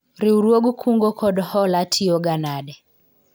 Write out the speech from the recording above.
riwruog kungo kod hola tiyo ga nade?